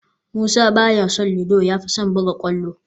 Musa ba ya son ludo, ya fi son buga kwallo